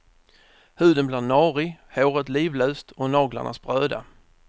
Huden blir narig, håret livlöst och naglarna spröda.